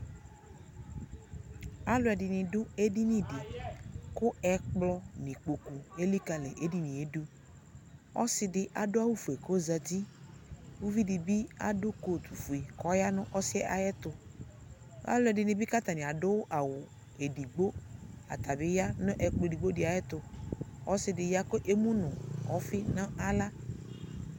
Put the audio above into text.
Alʋɛdɩnɩ dʋ edinidɩ , kʋ ɛkplɔ elikǝli edinie dʋ Ɔsɩfɩbadʋ awʋfue k'ozati ; uvidɩ bɩ adʋ kotufue k'ɔya nʋ ɔsiɛ ayɛtʋ Alʋɛdɩnɩ bɩ k'atanɩ adʋ awʋ edigbo; ata bɩ ya nʋ ɛkplɔ edigbodɩ ayɛtʋ , ɔsɩdɩ ya kʋ emu nʋ ɔfɩ n'aɣla